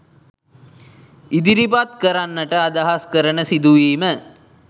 ඉදිරිපත් කරන්නට අදහස් කරන සිදුවීම